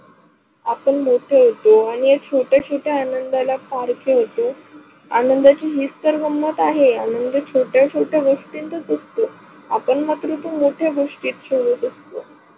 आपण मोठे होतो आणि या छोट्या छोट्या आनंदाला फार खेळतो. आनंदाची ही तर गंमत आहे आनंद छोट्या छोट्या गोष्टीतच असतो. आपण मात्र ते मोठ्या गोष्टीत शोधत असतो.